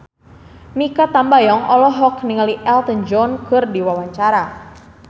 Mikha Tambayong olohok ningali Elton John keur diwawancara